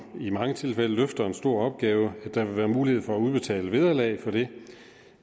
i mange tilfælde løfter en stor opgave vil der være mulighed for at betale et vederlag for det